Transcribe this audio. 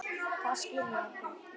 Það skil ég ekki.